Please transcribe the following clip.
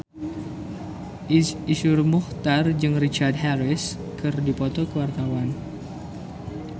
Iszur Muchtar jeung Richard Harris keur dipoto ku wartawan